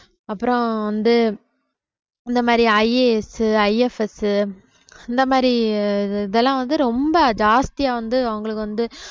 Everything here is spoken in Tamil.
அப்புறம் வந்து இந்த மாதிரி IAS உ IFS உ இந்த மாதிரி இதெல்லாம் வந்து ரொம்ப ஜாஸ்தியா வந்து அவங்களுக்கு வந்து